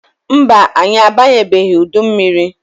Mba, anyị abanyebeghi udu mmiri.